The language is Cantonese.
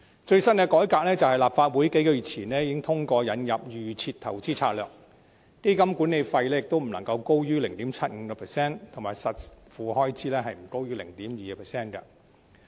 最新的改革是立法會於數月前通過引入預設投資策略，規定基金管理費不得高於 0.75%， 而實付開支亦不得高於 0.2%。